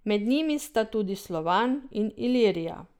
Med njimi sta tudi Slovan in Ilirija.